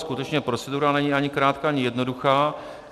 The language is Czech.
Skutečně procedura není ani krátká, ani jednoduchá.